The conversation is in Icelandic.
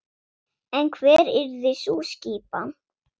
En hver yrði sú skipan?